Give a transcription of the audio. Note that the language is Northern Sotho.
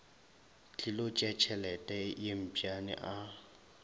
tlilo tšeatšhelete ye mpšane a